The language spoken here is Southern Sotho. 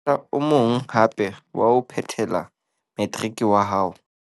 Monyetla o mong hape wa ho phethela materiki wa hao